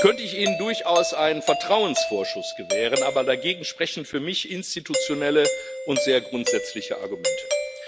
Nun könnte ich Ihnen durchaus einen Vertrauensvorschuss gewähren, aber dagegen sprechen für mich institutionelle und sehr grundsätzliche Argumente.